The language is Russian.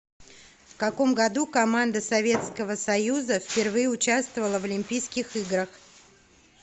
в каком году команда советского союза впервые участвовала в олимпийских играх